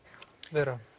vera